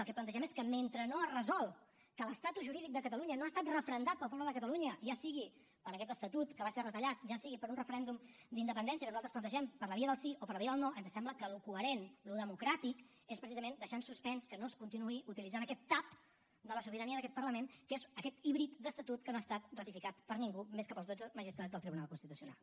el que plantegem és que mentre no es resol que l’estatus jurídic de catalunya no ha estat referendat pel poble de catalunya ja sigui per aquest estatut que va ser retallat ja sigui per un referèndum d’independència que nosaltres plantegem per la via del sí o per la via del no ens sembla que el coherent el democràtic és precisament deixar en suspens que no es continuï utilitzant aquest tap de la sobirania d’aquest parlament que és aquest híbrid d’estatut que no ha estat ratificat per ningú més que pels dotze magistrats del tribunal constitucional